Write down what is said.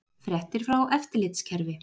Fréttir frá eftirlitskerfi